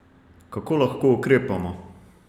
Kako lahko ukrepamo?